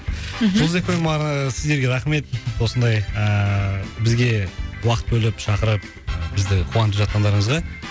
жұлдыз эф эм ыыы сіздерге рахмет осындай ыыы бізге уақыт бөліп шақырып бізді қуантып жатқандарыңызға